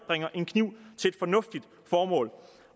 en kniv til et fornuftigt formål